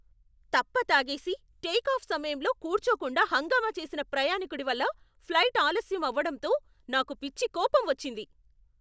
తప్ప తాగేసి టేకాఫ్ సమయంలో కూర్చోకుండా హంగామా చేసిన ప్రయాణికుడి వల్ల ఫ్లైట్ ఆలస్యం అవడంతో నాకు పిచ్చి కోపం వచ్చింది.